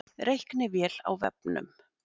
Reiknivél á vefnum